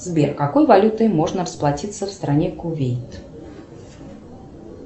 сбер какой валютой можно расплатиться в стране кувейт